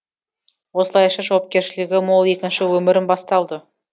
осылайша жауапкершілігі мол екінші өмірім басталды